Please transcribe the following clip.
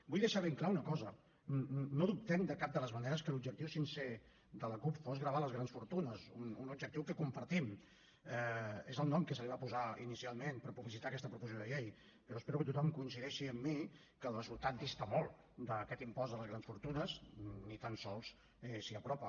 vull deixar ben clara una cosa no dubtem de cap de les maneres que l’objectiu sincer de la cup fos gravar les grans fortunes un objectiu que compartim és el nom que se li va posar inicialment per publicitar aquesta proposició de llei però espero que tothom coincideixi amb mi que el resultat dista molt d’aquest impost de les grans fortunes ni tan sols s’hi apropa